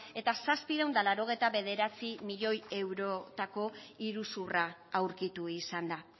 eta zazpiehun eta laurogeita bederatzi milioi eurotako iruzurra aurkitu izan da